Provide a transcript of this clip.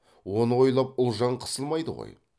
оны ойлап ұлжан қысылмайды ғой